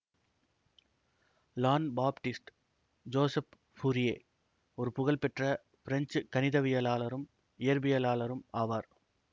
Jean Baptiste Joseph Fourier ஒரு புகழ்பெற்ற French கணிதவியலாளரும் இயற்பியலாளரும் ஆவார்